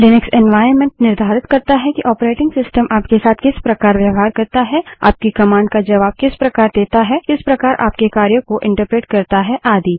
Linux environment निर्धारित करता है कि ऑपरेटिंग सिस्टम आपके साथ किस प्रकार व्यवहार करता है आपकी कमांड का जबाब किस प्रकार देता है किस प्रकार आपके कार्यों को एंटरप्रेट करता है आदि